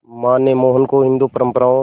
मां ने मोहन को हिंदू परंपराओं